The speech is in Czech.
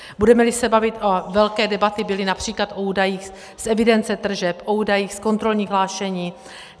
Budeme-li se bavit - velké debaty byly například o údajích z evidence tržeb, o údajích z kontrolních hlášení.